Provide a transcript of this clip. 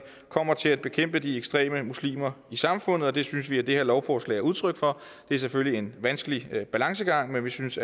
kommer til at bekæmpe de ekstreme muslimer i samfundet og det synes vi at det her lovforslag udtryk for det er selvfølgelig en vanskelig balancegang men vi synes